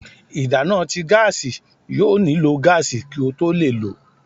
ìdana tí gáási yóò niló gaasi kí o tó le ló